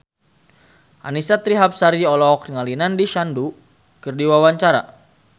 Annisa Trihapsari olohok ningali Nandish Sandhu keur diwawancara